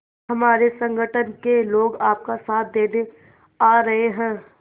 हमारे संगठन के लोग आपका साथ देने आ रहे हैं